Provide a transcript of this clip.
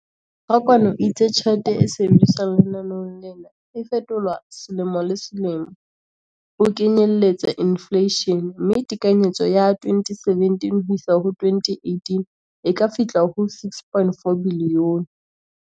Rakwena o itse tjhelete e sebediswang lenaneong lena e fetolwa selemo le selemo ho kenyelletsa infleishene, mme tekanyetso ya 2017-18 e ka fihla ho R6.4 bilione.